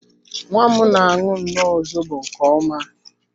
Nwa m na aṅụ nnọọ zobo nke ọma